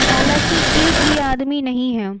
हालांकि एक भी आदमी नहीं है।